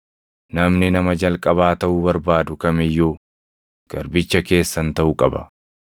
namni nama jalqabaa taʼuu barbaadu kam iyyuu garbicha keessan taʼuu qaba;